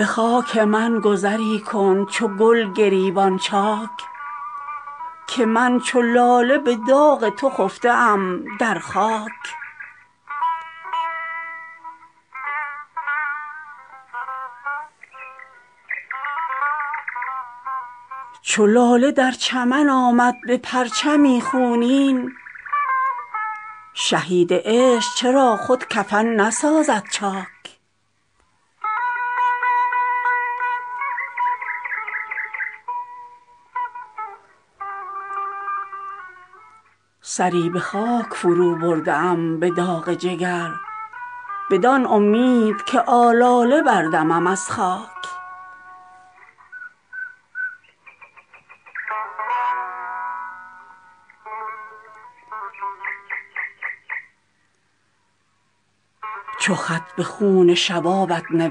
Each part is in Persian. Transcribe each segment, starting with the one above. به خاک من گذری کن چو گل گریبان چاک که من چو لاله به داغ تو خفته ام در خاک چو لاله در چمن آمد به پرچمی خونین شهید عشق چرا خود کفن نسازد چاک سری به خاک فرو برده ام به داغ جگر بدان امید که آلاله بردمم از خاک اگر به دامن چاک آمدم در این گیتی هزار شکر که رفتم چو گل به دامن پاک به تربتم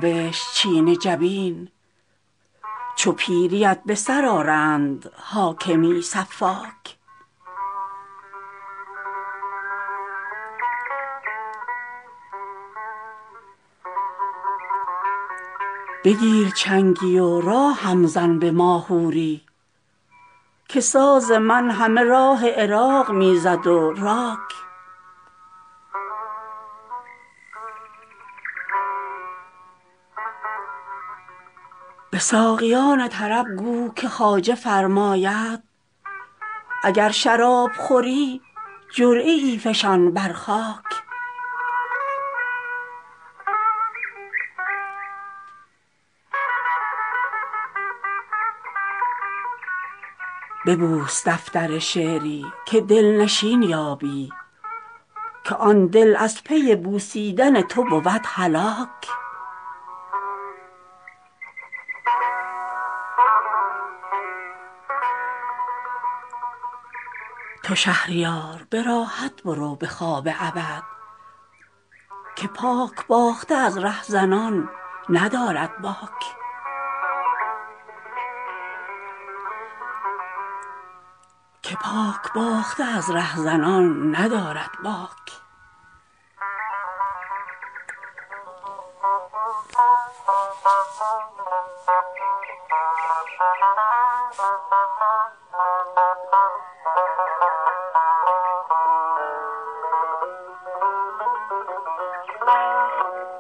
چو گذشتی به طیب نفس ای گل آبی به فاتحه بگشا که طیب الله فاک تو ای که فاتحه بر خاک اولیا خواندی موالیای تو خواند فرشته بر افلاک جهان چه فتنه که از روی خوش نشان دادن به خیل پاکدلان بخل ورزد و امساک چو خط به خون شبابت نوشت چین جبین چو پیریت به سر آرند حاکمی سفاک خزان به سخره کند گاه گوشوار مویز به گوش پیرزن گوژپشت طارم تاک بگیر چنگی و راهم بزن به ماهوری که ساز من همه راه عراق می زد و راک به ساقیان طرب گو که خواجه فرماید اگر شراب خوری جرعه ای فشان بر خاک به خاک این دل مسکین علم کن آن دم و دود که خفته خرد و خمیر از خمار آن تریاک ز تخت و تاج فریدون چه حکمتی به از این که کاوه داد دل خود ستاند از ضحاک ببوس دفتر شعری که دلنشین یابی که آن دل از پی بوسیدن تو بود هلاک تو شهریار به راحت برو به خواب ابد که پاک باخته از ره زنان ندارد باک